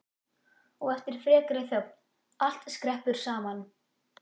Og eftir frekari þögn: Allt skreppur saman